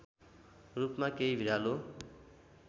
रूपमा केही भिरालो